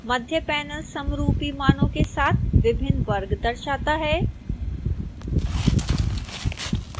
मध्य panel समरूपी मानों के साथ विभिन्न वर्ग दर्शाता है